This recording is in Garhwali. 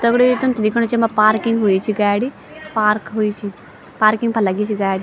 दगड़ियों ये तुम्थे दिखेणु च येमा पार्किंग हुई च गाडी पार्क हुई छी पार्किंग पर लगीं च गाड़ी।